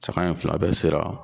Saga in fila bɛɛ sera